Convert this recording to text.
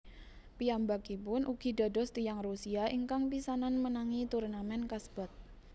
Piyambakipun ugi dados tiyang Rusia ingkang pisanan menangi turnamèn kasebat